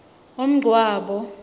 umngcwabo